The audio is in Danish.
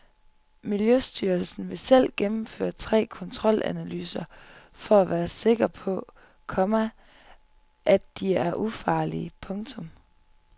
Miljøstyrelsen vil selv gennemføre tre kontrolanalyser for at være helt sikker på, komma at de er ufarlige. punktum